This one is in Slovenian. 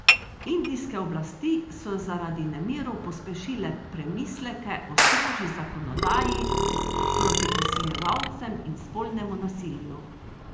Indijske oblasti so zaradi nemirov pospešile premisleke o strožji zakonodaji proti posiljevalcem in spolnemu nasilju.